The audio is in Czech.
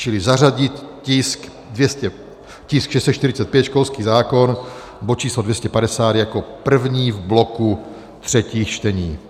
Čili zařadit tisk 645, školský zákon, bod číslo 250, jako první v bloku třetích čtení.